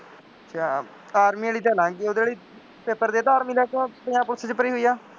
Army ਵਾਲੀ ਤਾਂ ਲੰਘ ਗਈ, ਉਹਦੇ ਵਾਲੀ, ਪੇਪਰ ਦੇ ਦਿੱਤਾ ਆਰਮੀ ਦਾ ਕਿ ਪੰਜਾਬ ਪੁਲਿਸ ਦੀ ਭਰੀ ਹੋਈ ਹੈ।